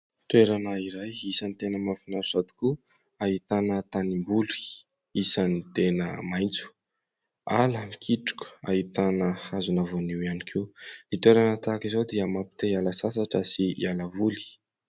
Toerana iray isan'ny tena mahafinaritra tokoa ahitana tanimboly isan'ny tena maitso. Ala mikitroka ahitana hazona voanio ihany koa. Ny toerana tahaka izao dia mampite hiala sasatra sy hiala voly.